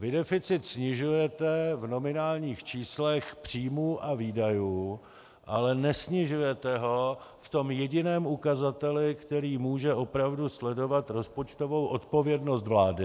Vy deficit snižujete v nominálních číslech příjmů a výdajů, ale nesnižujete ho v tom jediném ukazateli, který může opravdu sledovat rozpočtovou odpovědnost vlády.